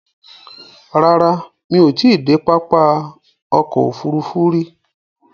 Rárá, mí ò ti i dé pápá ọkò òfurufú rí.